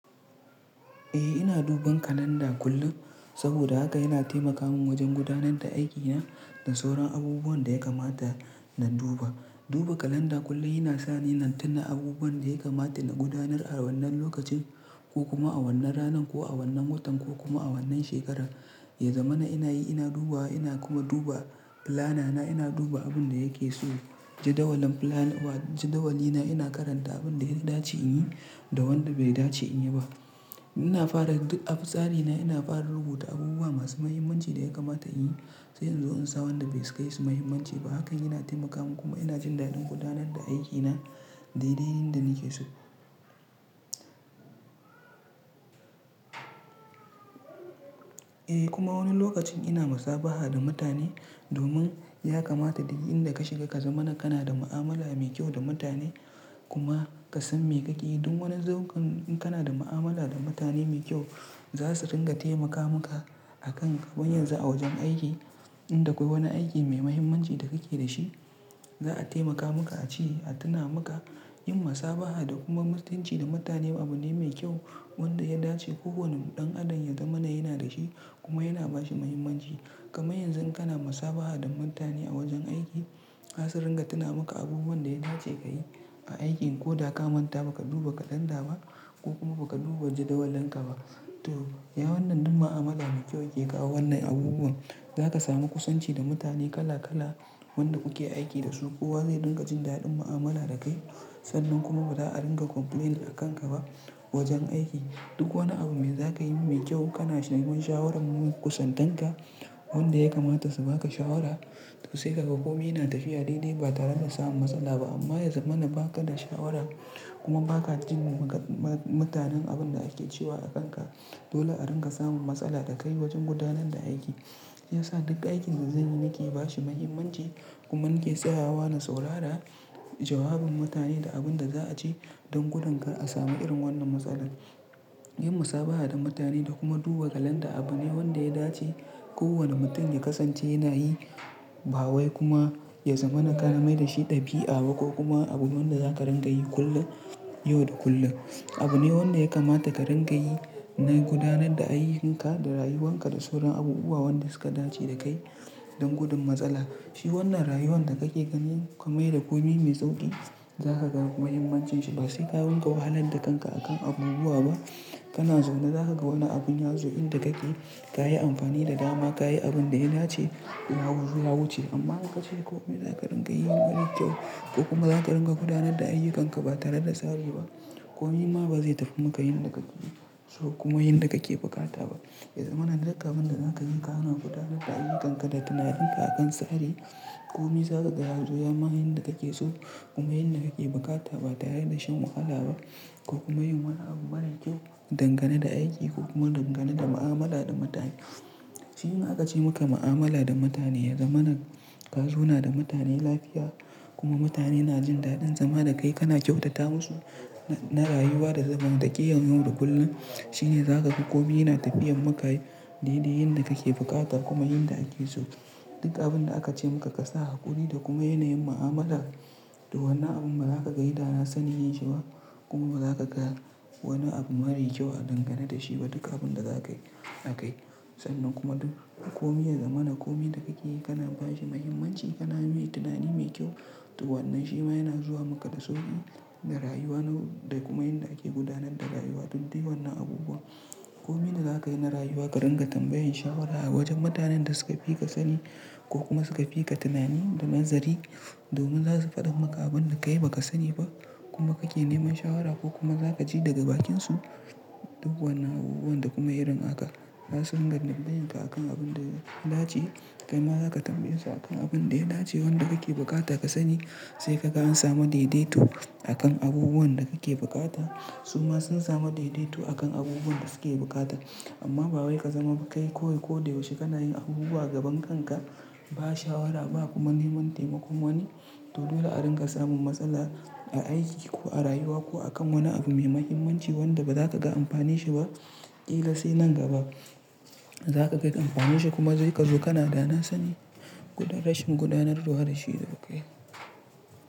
Eh ina duban kalanda kullum saboda haka yana taimaka min wajen gudanar da aikina da sauran abubuwan da ya kamata na duba. Duba kalanda kullum yana sa ni na tuna abubuwan da ya kamata in gudanar a wannan lokacin ko kuma a wannan ranan ko a wannan watan ko kuma a wannan shekarar. Yanzu mana ina yi ina duba ina kuma duba fulanana ina duba abin da yake so. Jadawalin fulani wa jadawalina ina karanta abin da ya dace in yi da wanda bai dace in yi ba. Ina fara yin dik a tsarina ina fara rubuta abubuwa masu mahimmanci da ya kamata in yi sai in zo in sa wanda bai sukaisu mahimmanci ba. Hakan yana taimaka min kuma yana jin daɗin gudanar da aikina daidai yadda nake so. Eh kuma wani lokacin ina musabaha da mutane domin ya kamata duk inda ka shiga ka zama kana da mu'amala mai kyau da mutane kuma ka san maikaki. Duk wani zangon in kana da mu'amala da mutane mai kyau za su ringa taimaka maka akan kaman yanzu a wajen aiki. Inda akwai wani aiki mai mahimmanci da kake da shi za'a taimaka maka a ci a tuna maka. Yin musabaha da kuma mutunci da mutane abu ne mai kyau wanda ya dace kowane ɗan adam ya za mana yana da shi kuma yana ba shi mahimmanci. Kaman yanzu in kana musabaha da mutane a wajen aiki za su ringa tuna maka abubuwan da ya dace ka yi a aikin ko da ka manta ba ka duba kalanda ba ko kuma ba ka duba jadawalin ka ba. To ya wannan duka mu'amala mai kyau yake kawo wannan abubuwan. Za ka samu kusanci da mutane kala kala wanda kuke aiki da su. Kowa zai ringa jin daɗin mu'amala da kai sannan kuma ba za'a ringa complaint a kanka ba wajen aiki. Duk wani abu mai za ka yi mai kyau kana neman shawarar kusantanka wanda ya kamata su ba ka shawara. To sai ka ga kome yana tafiya daidai ba tare da samun matsala ba amma yanzu mana ba ka da shawara kuma ba ka jin maka ma mutanen abin da ake cewa a kanka. Dole a ringa samun matsala da ka yi wajen gudanar da aiki. Shi yasa duka aikin da zan yi nake ba shi mahimmanci kuma nake tsayawa na saurara jawabin mutane da abin da za a ce don gudankar a samu irin wannan matsalar. Yin musabaha da mutane da kuma duba kalanda abu ne wanda ya dace kowane mutum ya kasance yana yi. Ba wai kuma ya za mana ka na mai da shi ɗabi'a ba ko kuma abu wanda za ka ringa yi kullum yau da kullum. Abu ne wanda ya kamata ka ringa yi bayan gudanar da aiyukan ka da rayuwan ka da sauran abubuwa wanda suka dace da kai don gudun matsala. Shi wannan rayuwan da kake gani kamai da kome mai sauƙi za ka ga mahimmancin shi ba sai ka ringa wahalar da kanka akan abubuwa ba. Kana zaune za ka ga wani abin yazu inda kake ka yi amfani da dama ka yi abin da ya dace ya zuwa yawu ce amma in ka ce kome za ka ringa yi. Wani kyau ko kuma za ka ringa gudanar da aiyukan ka ba tare da tsaro ba. Kome ma ba zai tafi maka yin da kake so kuma yin da kake bukata ba. Yaza mana duka abin da za ka yi kana gudanar da aiyukan ka da tunaninka akan tsari. Kome za ka ga yanzu ya ma yin da kake so kuma yin da kake bukata ba tare da shan wahala ba ko kuma yin wani abu mara kyau dangane da aiki ko kuma dangane da mu'amala da mutane. Shi ne aka ce muka mu'amala da mutane yanzu mana ka zo na da mutane lafiya kuma mutane na jin daɗin zama da kai kana kyautata musu na rayuwa da zamantakiyar yau da kullum. Shi ne za ka ga kome yana tafiyar maka daidai yin da kake bukata kuma yin da ake so. Duka abin da aka ce maka ka sa hakuri da kuma yana yin mu'amala da wannan abun ba za ka ga yi dana sani yin shi ba kuma ba za ka ga wani abu mara kyau a dangane da shi ba. Duka abin da za ka a kai sannan kuma duk kome yanzu mana kome da kake yi kana ba shi mahimmanci kana yi tunani mai kyau. To wannan shi ma yana zuwa maka da sauƙi da rayuwa na da kuma yin da ake gudanar da rayuwa duk dai wannan abubuwa. Kome da za ka yi na rayuwa ka ringa tambayan shawara a wajen mutanen da suka fi ka sani ko kuma suka fi ka tunani da nazari domin za su faɗa maka abin da ka yi ba ka sani ba kuma kake neman shawara ko kuma za ka ji daga bakinsu duk wannan abubuwan da kuma irin haka. Za su ringa tam yanka akan abun da ya dace kaima za ka tambaye su akan abin da ya dace wanda kake bukata ka sani sai ka ga an samu daidaito akan abubuwan da kake bukata. Su ma sun samu daidaito akan abubuwan da suke bukata amma ba wai ka zama kai koyi ko da yaushe kana yin abubuwa gaban kanka ba shawara ba kuma neman taimakon wani. To dole a ringa samun matsala a aiki ko a rayuwa ko akan wani abu mai mahimmanci wanda ba za ka ga amfani shi ba. Kila sai nan gaba za ka kai amfani shi kuma zai ka zo kana da na sani gudanar shin gudanarwa da shi da kai.